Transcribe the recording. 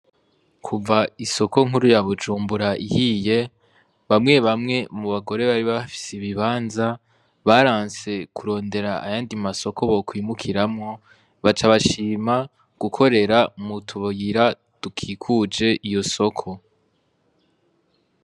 Kuva isoko nkuru ya bujumbura ihiye bamwe bamwe mu bagore bari bafise ibibanza baranse kurondera ayandi masoko bokwimukiramwo baca bashima gukorera mutubuyira dukikuje iyo soko.